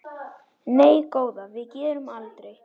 Nei góða, við gerum aldrei.